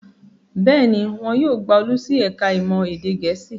Bẹ́ẹ̀ ni, wọn yóò gba Olú sí ẹ̀ka-ìmọ̀ èdè Gẹ̀ẹ́sì.